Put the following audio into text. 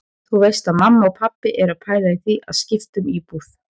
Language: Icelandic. Þú veist að mamma og pabbi eru að pæla í því að skipta um íbúð.